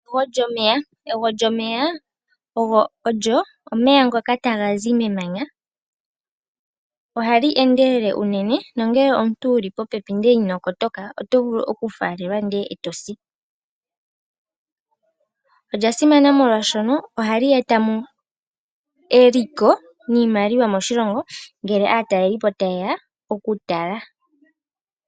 Egwo lyomeya olyo omeya ngoka haga kunguluka taga zi memanya. Omeya ngaka ohaga endelele unene, nongele omuntu wu li popepi nago ndele ino kotoka, nena otaga vulu ge ku faalele eto si. Lyo olya simana molwashoka ohali eta eliko niimaliwa moshilongo uuna aatalelipo taye ya oku li tala.